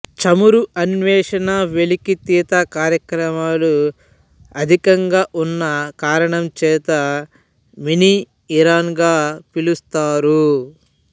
చమురు అన్వేషణ వెలికితీత కార్యక్రమాలు అధికంగా ఉన్న కారణంచేత మినీ ఇరాన్ గా పిలుస్తారు